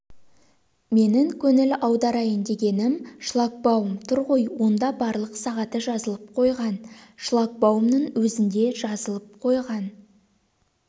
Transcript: менің көңіл аударайын дегенім шлагбаум тұр ғой онда барлық сағаты жазылып қойған шлагбаумның өзінде жазылып қойған